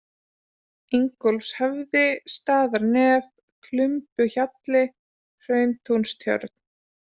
Ingólfshöfði, Staðarnef, Klumbuhjalli, Hrauntúnstjörn